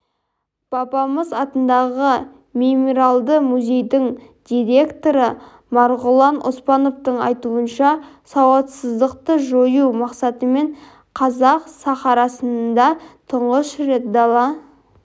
бабамыз атындағы мемориалдық музейдің директоры марғұлан оспановтың айтуынша сауатсыздықты жою мақсатымен қазақ сахарасында тұңғыш рет дала